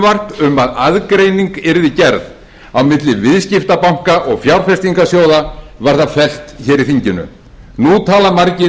um að aðgreining yrði gerð á milli viðskiptabanka og fjárfestingarsjóða var það fellt hér í þinginu nú tala margir